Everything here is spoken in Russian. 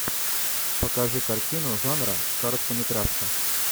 покажи картину жанра короткометражка